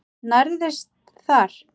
Nærðist þar.